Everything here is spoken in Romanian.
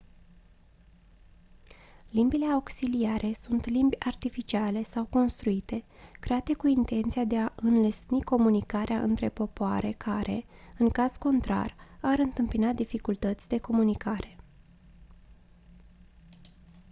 limbile auxiliare sunt limbi artificiale sau construite create cu intenția de a înlesni comunicarea între popoare care în caz contrar ar întâmpina dificultăți de comunicare